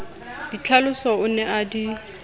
ditlhaloso o ne a di